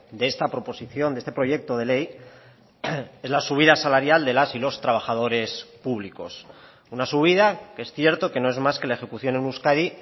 de esta proposición de este proyecto de ley es la subida salarial de las y los trabajadores públicos una subida que es cierto que no es más que la ejecución en euskadi